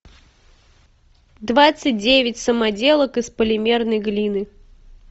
двадцать девять самоделок из полимерной глины